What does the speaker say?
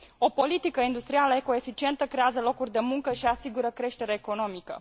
O politică industrială eco eficientă creează locuri de muncă și asigură creștere economică.